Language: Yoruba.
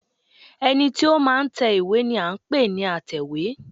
ẹní tí o ma n tẹ ìwé ni a n pẹ ní àtẹwé